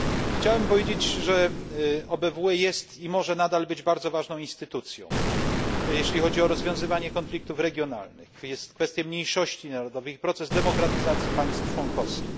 Chciałem powiedzieć, że OBWE jest i może nadal być bardzo ważną instytucją, jeśli chodzi o rozwiązywanie konfliktów regionalnych, kwestie mniejszości narodowych i proces demokratyzacji państw członkowskich.